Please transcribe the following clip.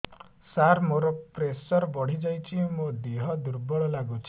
ସାର ମୋର ପ୍ରେସର ବଢ଼ିଯାଇଛି ମୋ ଦିହ ଦୁର୍ବଳ ଲାଗୁଚି